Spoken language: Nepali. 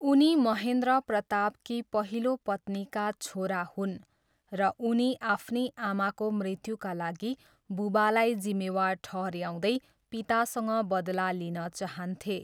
उनी महेन्द्र प्रतापकी पहिलो पत्नीका छोरा हुन् र उनी आफ्नी आमाको मृत्युका लागि बुबालाई जिम्मेवार ठहऱ्याउँदै पितासँग बदला लिन चाहन्थे।